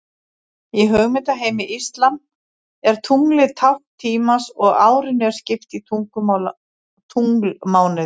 Í hugmyndaheimi íslam er tunglið tákn tímans og árinu er skipt í tunglmánuði.